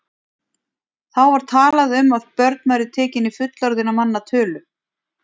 Þá var talað um að börn væru tekin í fullorðinna manna tölu.